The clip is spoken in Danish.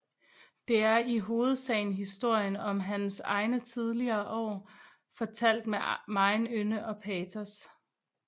Det er i hovedsagen historien om hans egne tidligere år fortalt med megen ynde og patos